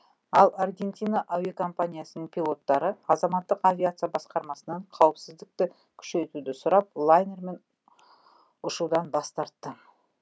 ал аргентина әуекомпаниясының пилоттары азаматтық авиация басқармасынан қауіпсіздікті күшейтуді сұрап лайнермен ұшудан бас тартты